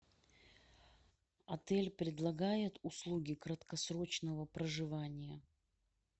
отель предлагает услуги краткосрочного проживания